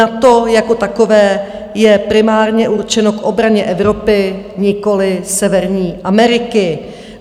NATO jako takové je primárně určeno k obraně Evropy, nikoli Severní Ameriky.